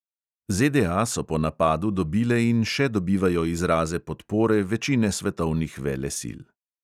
ZDA so po napadu dobile in še dobivajo izraze podpore večine svetovnih velesil.